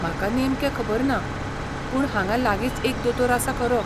म्हाका नेमकें खबर ना, पूण हांगा लागींच एक दोतोर आसा खरो.